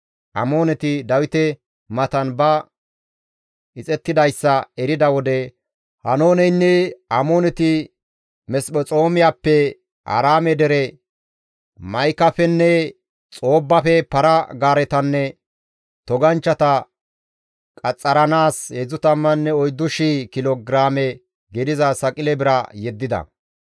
Amooneti Dawite matan ba ixettidayssa erida wode Haanooneynne Amooneti Mesphexoomiyappe, Aaraame dere Ma7ikafenne Xoobbafe para-gaaretanne toganchchata qaxxaranaas 34,000 kilo giraame gidiza saqile bira yeddida.